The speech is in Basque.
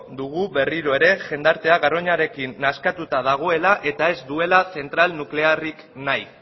dugu berriro ere jendartea garoñarekin nazkatuta dagoela eta ez duela zentral nuklearrik nahi